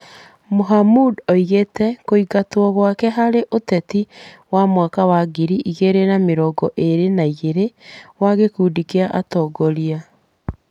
Mohamud aigĩrĩire kũingatwo gwake harĩ ũteti wa mwaka wa ngiri igĩrĩ na mĩrongo ĩrĩ na igĩrĩ wa gĩkundi kĩa atongoria.